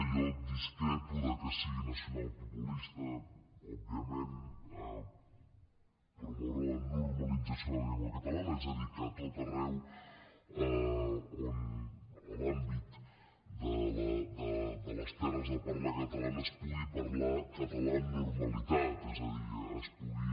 jo discrepo que sigui nacionalpopulista òbviament promoure la normalització de la llengua catalana és a dir que a tot arreu en l’àmbit de les terres de parla catalana es pugui parlar català amb normalitat és a dir es pugui